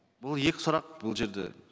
бұл екі сұрақ бұл жерде